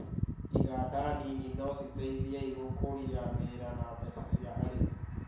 Iganda nini no citeithei gũkũria wĩra na mbeca cia arĩmi.